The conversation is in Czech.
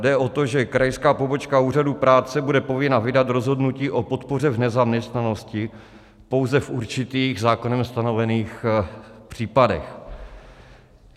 Jde o to, že krajská pobočka úřadu práce bude povinna vydat rozhodnutí o podpoře v nezaměstnanosti pouze v určitých, zákonem stanovených případech.